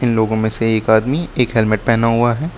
इन लोगों में से एक आदमी एक हेलमेट पेहना हुआ है।